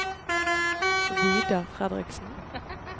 Vidar Fredriksen